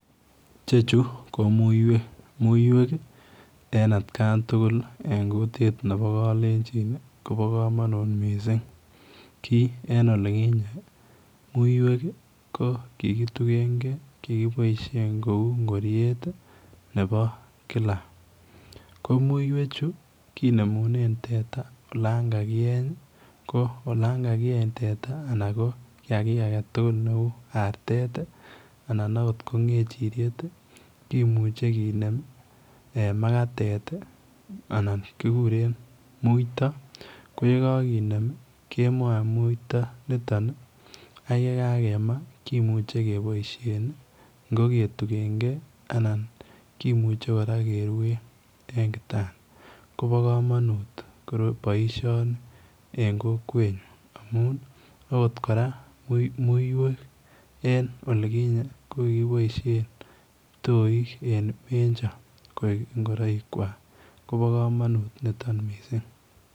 Ichechu ko muiywek , muiywek en at khan tugul en kit nebo kalenjin kobaa kamanut missing kii en olikinyei muiywek ko kikitugengei ,kikiboisien kou in goriest nebo Kila ko muiywek chuu kinemunen teta olaan kakieeny anan ko olaan kakieeny teta anan ko kiagik age tugul artet, anan akot ko ngechiriet komuchei kinem akoot makatet en makatet anan kiguren muitaa ko ye kaginem muitaa nitoon, ak ye kagemaah komuchei kebaishen NGO ketugen kei anan komuchei kora keruen en kitanda kobaa kamanut boisioni en enero amuun akoot kora muiywek en olikinyei ko kikiboisien ptoik en me ko koek ingoraik kwaak kobaa kamanut nitoon missing.